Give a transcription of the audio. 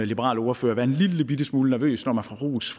liberal ordfører være en lillebitte smule nervøs når man får ros